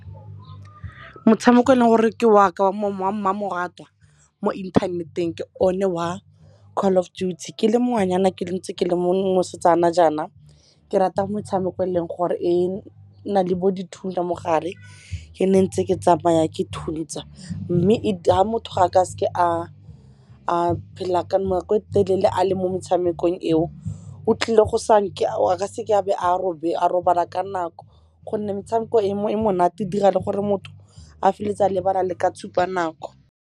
Motshameko eleng gore ke waka wa mmamoratwa mo inthaneteng ke o ne wa Call of Duty. Ke le ngwanyana ke ntse ke le mosetsana jaana ke rata metshameko eleng gore e na le bo dithuya mo gare, ke nne ntse ke tsamaya ke thuntsa. Mme ga motho ga a ka seke a phela ka nako e telele a le mo metshamekong eo, a seke a be a robala ka nako gonne metshameko e monate dira le gore motho a feleletse a lebala le ka tshupa nako.